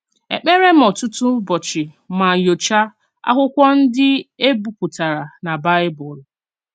Èkpèrè m ọ̀tụ̀tụ̀ ụ̀bọ̀chì mà nyòchàá àkwụ́kwọ́ ndí e bìpùtàrà nà Baịbụl."